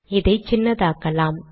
இதை சின்னதாக்கலாம்